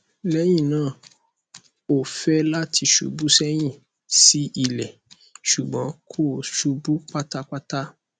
lẹhinna o fẹ lati ṣubu sẹhin si ilẹ ṣugbọn ko ṣubu patapata